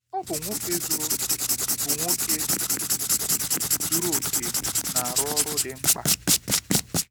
Ọ bụ nwoke zuru bụ nwoke zuru oke na-arụ ọrụ dị mkpa.